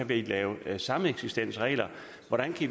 vi kan lave sameksistensregler hvordan